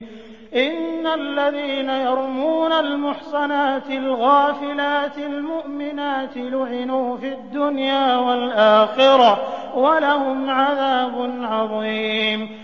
إِنَّ الَّذِينَ يَرْمُونَ الْمُحْصَنَاتِ الْغَافِلَاتِ الْمُؤْمِنَاتِ لُعِنُوا فِي الدُّنْيَا وَالْآخِرَةِ وَلَهُمْ عَذَابٌ عَظِيمٌ